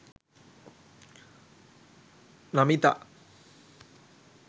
namitha